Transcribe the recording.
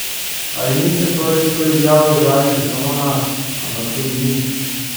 Ali niste torej s to izjavo užalili samo nas, ampak tudi njih?